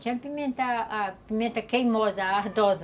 Não, tinha pimenta queimosa, ardosa.